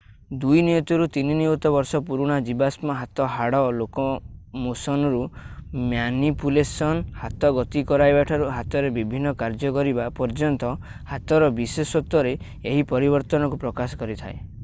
2 ନିୟୁତରୁ 3 ନିୟୁତ ବର୍ଷ ପୁରୁଣା ଜୀବାଶ୍ମ ହାତ ହାଡ଼ ଲୋକୋମୋସନରୁ ମ୍ୟାନିପୁଲେସନ୍ ହାତ ଗତି କରାଇବାଠାରୁ ହାତରେ ବିଭିନ୍ନ କାର୍ଯ୍ୟ କରିବା ପର୍ଯ୍ୟନ୍ତ ହାତର ବିଶେଷତ୍ୱରେ ଏହି ପରିବର୍ତ୍ତନକୁ ପ୍ରକାଶ କରିଥାଏ।